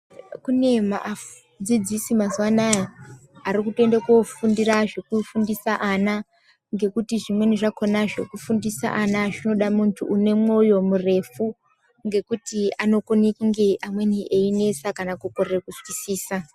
Kune maafu dzidzisi mazuwa anaya ari kutoende kofundira zvekufundise ana ngekuti zvimweni zvakona zvekufundise ana zvinoda muntu une mwoyo murefu ngekuti anokone kunge amweni einesa kana kukorere kuzwisisa.